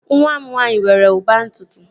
Nwa m nwaanyị nwere ụba ntutu